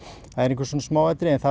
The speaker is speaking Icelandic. það eru einhver svona smáatriði en það